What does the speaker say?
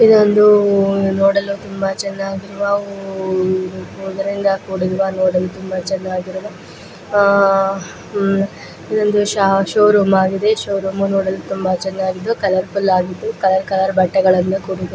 ಇದೊಂದು ನೋಡಲು ತುಂಬಾ ಚನ್ನಾಗಿರುವ ಕೂಡಿರುವ ನೋಡಲು ತುಂಬಾ ಚನ್ನಾಗಿರುವ ಆ ಆಮ್ ಇದೊಂದು ಶೋ ರೂಮ್ ಆಗಿದ್ದು ಶೋ ರೂಮ್ ನೋಡಲು ತುಂಬಾ ಚನ್ನಾಗಿದ್ದು ಕಲರ್ ಫುಲ್ ಆಗಿದ್ದು ಕಲರ್ ಕಲರ್ ಬಟ್ಟೆಗಳಿಂದ ಕೂಡಿದೆ.